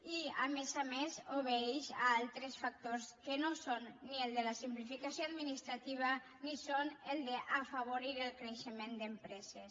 i a més a més obeeix a altres factors que no són ni el de la simplificació administrativa ni el d’afavorir el creixement d’empreses